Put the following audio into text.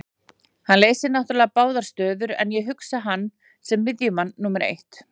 Hann leysir náttúrulega báðar stöður en ég hugsa hann sem miðjumann númer eitt.